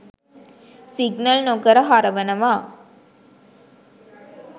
Signal නොකර හරවනවා.